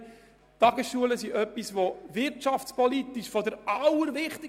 Die Tagesschulen sind wirtschaftspolitisch äusserst wichtig.